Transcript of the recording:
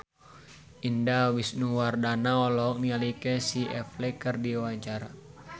Indah Wisnuwardana olohok ningali Casey Affleck keur diwawancara